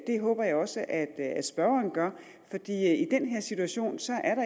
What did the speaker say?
det håber jeg også at at spørgeren gør i den her situation